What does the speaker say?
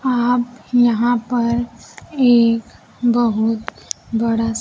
आप यहां पर एक बहुत बड़ा सा--